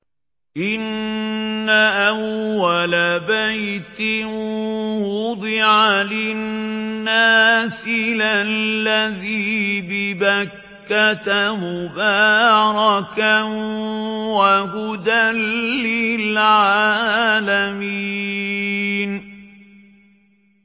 إِنَّ أَوَّلَ بَيْتٍ وُضِعَ لِلنَّاسِ لَلَّذِي بِبَكَّةَ مُبَارَكًا وَهُدًى لِّلْعَالَمِينَ